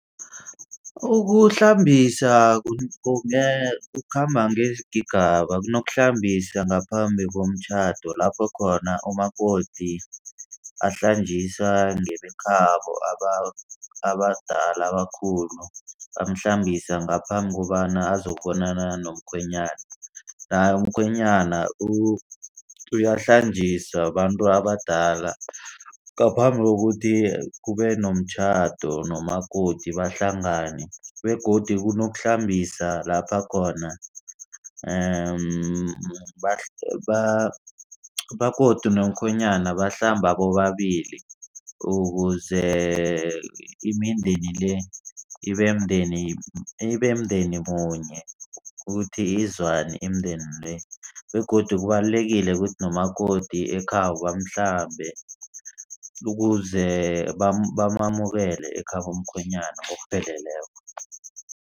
Ukuhlambisa kukhamba ngeengaba kunokuhlambisa ngaphambi komtjhado. Lapho khona umakoti ahlanjiswa ngebekhabo abadala abakhulu, bamhlambise ngaphambi kobana azokubonana nomkhwenyana. Naye umkhwenyana uyahlanjiswa babantu abadala ngaphambi kokuthi kube nomtjhado nomakoti bahlangane begodu kunokuhlambisa lapha khona umakoti nomkhwenyana bahlamba bobabili. Ukuze imindeni le ibe mndeni, ibe umndeni munye. Ukuthi izwane imindeni le begodu kubalulekile ukuthi nomakoti ekhabo bamhlambe. Ukuze bamamukele ekhabomkhwenyana ngokupheleleko.